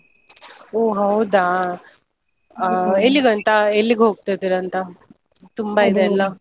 ಓ ಹೌದಾ? ಎಲ್ಲಿಗಂತ ಎಲ್ಲಿಗ್ ಹೋಗ್ತಾ ಇದ್ದೀರಂತ ?